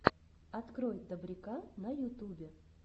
открой добряка на ютубе